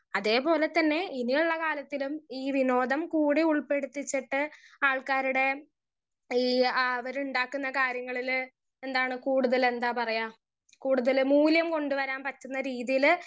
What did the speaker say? speaker 1 അതേപോലെ തന്നെ ഇനിയുള്ള കാലത്തിലും ഈ വിനോദം കൂടി ഉള്പെടുത്തിച്ചിട്ട് ആൾക്കാരുടെ ഈ ആ അവര് ഉണ്ടാക്കുന്ന കാര്യങ്ങളിൽ എന്താണ് കൂടുതൽ എന്താ പറയാ കൂടുതൽ മൂല്യം കൊണ്ടുവരാൻ പറ്റുന്ന രീതിയിൽ